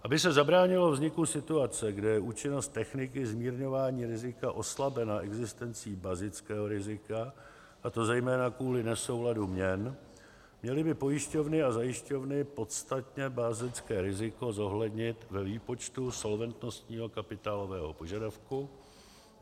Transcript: Aby se zabránilo vzniku situace, kdy je účinnost techniky zmírňování rizika oslabena existencí bazického rizika, a to zejména kvůli nesouladu měn, měly by pojišťovny a zajišťovny podstatné bazické riziko zohlednit ve výpočtu solventnostního kapitálového požadavku.